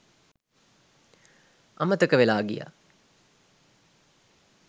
අමතක වෙලා ගියා